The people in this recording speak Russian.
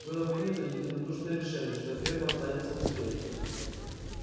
было принято единодушное решение что ферма останется музеем